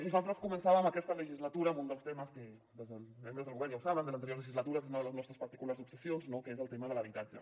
nosaltres començàvem aquesta legislatura amb un dels temes els membres del govern ja ho saben de l’anterior legislatura que és una de les nostres particulars obsessions no que és el tema de l’habitatge